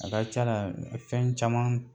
A ka ca a la fɛn caman